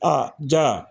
A ja